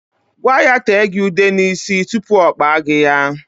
Gwa ya tee gị ude n'isi tupu ọ kpaa gị ya.